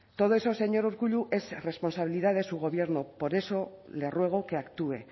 todo eso señor urkullu es responsabilidad de su gobierno por eso le ruego que actúe